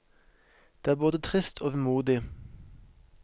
Det er både trist og vemodig.